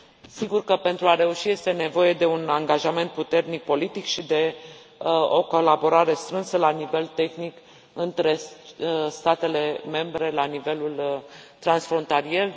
Sigur că pentru a reuși este nevoie de un angajament puternic politic și de o colaborare strânsă la nivel tehnic între statele membre la nivelul transfrontalier.